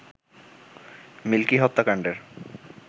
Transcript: milky হত্যাকাণ্ডের